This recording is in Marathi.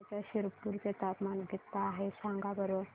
धुळ्याच्या शिरपूर चे तापमान किता आहे सांगा बरं